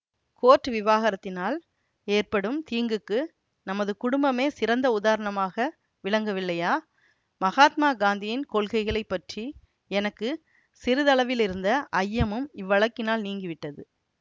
court விவகாரத்தினால் ஏற்படும் தீங்குக்கு நமது குடும்பமே சிறந்த உதாரணமாக விளங்கவில்லையா மகாத்மா காந்தியின் கொள்கைகளை பற்றி எனக்கு சிறிதளவிருந்த ஐயமும் இவ்வழக்கினால் நீங்கிவிட்டது